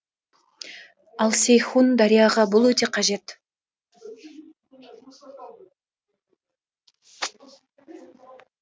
ал сейхун дарияға бұл өте қажет